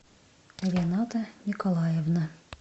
рената николаевна